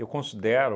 considero